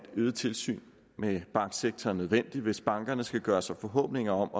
øget tilsyn med banksektoren hvis bankerne skal gøre sig forhåbninger om